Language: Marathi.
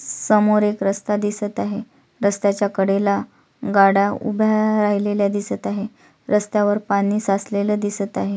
समोर एक रस्ता दिसत आहे रस्त्याच्या कडेला गाड्या उभ्या राहिलेल्या दिसत आहे रस्त्यावर पाणी साचलेल दिसत आहे.